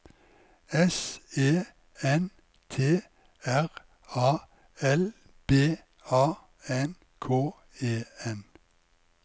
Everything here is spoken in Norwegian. S E N T R A L B A N K E N